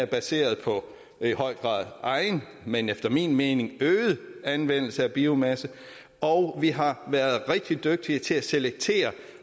baseret på egen men efter min mening øget anvendelse af biomasse og vi har været rigtig dygtige til at selektere